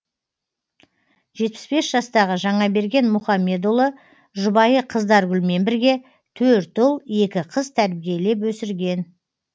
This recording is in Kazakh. жетпіс бес жастағы жаңаберген мұхамедұлы жұбайы қыздаргүлмен бірге төрт ұл екі қыз тәрбиелеп өсірген